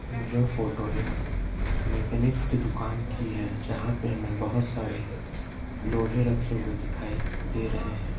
यह फोटो एक मैकेनिक्स की दुकान की है। जहां पे हमें बहुत सारे लोहे रखे हुए दिखाई दे रहे हैं।